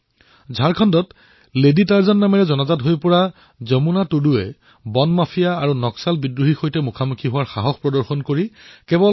ঝাৰখণ্ডত lady Tarzan হিচাপে খ্যাত যমুনা টুডুৱে টিম্বাৰ মাফিয়া আৰু নক্সালপন্থীসকলৰ বিৰুদ্ধে যুদ্ধ ঘোষণা কৰি কেৱল সাহসিক পদক্ষেপ গ্ৰহণ কৰিছে